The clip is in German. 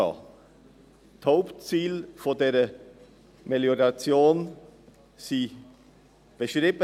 Die Hauptziele dieser Melioration sind beschrieben.